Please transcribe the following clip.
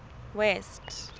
west